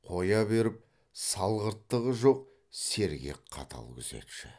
қоя беріп салғырттығы жоқ сергек қатал күзетші